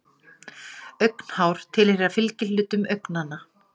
Augnhár tilheyra fylgihlutum augnanna.